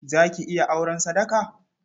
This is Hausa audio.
Za ki iya auren sadaka?